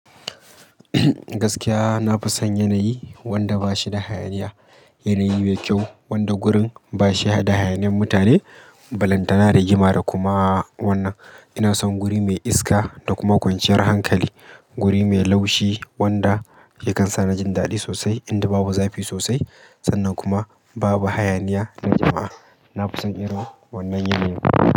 Gaskiya na fi son yanayi wanda ba shi da hayaniya. Yanayi mai kyau wanda gurin ba shi da hayaniyan mutane, ba lantana da rigima da kuma wannan. Ina son guri mai iska da kuma kwanciyar hankali. Guri mai laushi wanda ya kan sa ni jin daɗi sosai inda babu zafi sosai sannan kuma babu hayaniya na jama'a. Na fi son irin wannan yanayi.